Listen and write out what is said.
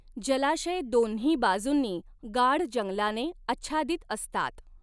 जलाशय दोन्ही बाजुंनी गाढ जंगलाने आच्छादित असतात.